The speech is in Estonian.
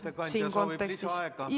Kas ettekandja soovib lisaaega?